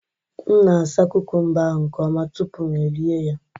M na-asa kukumba ahụ nke ọma tupu m erie ya